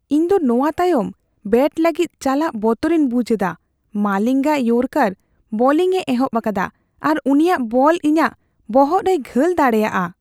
ᱤᱧ ᱫᱚ ᱱᱚᱣᱟ ᱛᱟᱭᱚᱢ ᱵᱮᱴ ᱞᱟᱹᱜᱤᱫ ᱪᱟᱞᱟᱜ ᱵᱚᱛᱚᱨᱤᱧ ᱵᱩᱡᱷᱟᱹᱣᱮᱫᱟ ᱾ ᱢᱟᱞᱤᱝᱜᱟ ᱤᱭᱚᱨᱠᱟᱨ ᱵᱳᱞᱤᱝ ᱮ ᱮᱦᱚᱯ ᱟᱠᱟᱫᱟ ᱟᱨ ᱩᱱᱤᱭᱟᱜ ᱵᱚᱞ ᱤᱧᱟᱜ ᱵᱚᱦᱚᱜ ᱨᱮᱭ ᱜᱷᱟᱹᱞ ᱫᱟᱲᱮᱭᱟᱜᱼᱟ ᱾